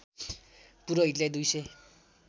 पुरोहितलाई दुई सय